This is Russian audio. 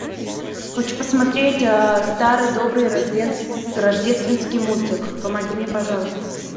хочу посмотреть старый добрый рождественский мультик помоги мне пожалуйста